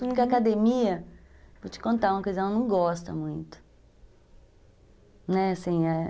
Porque academia, vou te contar uma coisa, eu não gosto muito.